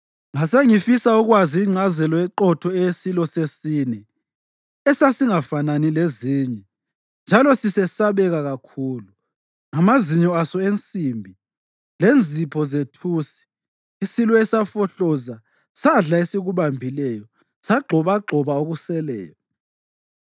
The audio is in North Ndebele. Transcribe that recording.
Ngase ngifisa ukwazi ingcazelo eqotho eyesilo sesine, esasingafanani lezinye njalo sisesabeka kakhulu, ngamazinyo aso ensimbi lenzipho zethusi, isilo esafohloza sadla esikubambileyo sagxobagxoba okuseleyo.